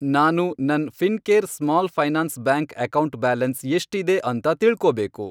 ನಾನು ನನ್ Fincare small finance bank account balance ಎಷ್ಟಿದೆ ಅಂತ ತಿಳ್ಕೋಬೇಕು.